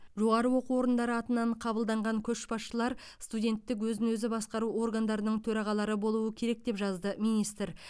жоғары оқу орындары атынан қабылданған көшбасшылар студенттік өзін өзі басқару органдарының төрағалары болуы керек деп жазды министр